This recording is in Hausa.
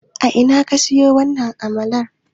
A ina ka siyo wannan amalar?